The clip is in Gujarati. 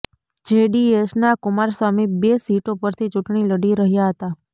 જેડીએસના કુમારસ્વામી બે સીટો પરથી ચૂંટણી લડી રહ્યા હતા